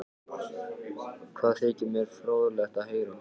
Það þykir mér fróðlegt að heyra